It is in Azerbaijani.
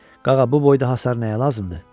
Qağa, bu boyda hasar nəyə lazımdır?